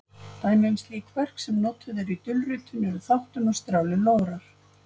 Dæmi um slík verkefni sem notuð eru í dulritun eru þáttun og strjálir lograr.